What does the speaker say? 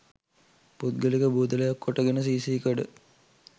පුද්ගලික බූදලයක් කොටගෙන සී සී කඩ